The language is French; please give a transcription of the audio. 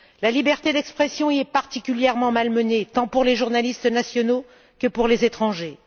La liberté d'expression y est particulièrement malmenée, tant pour les journalistes nationaux que pour les étrangers.